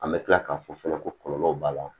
An bɛ tila k'a fɔ fɔlɔ ko kɔlɔlɔw b'a la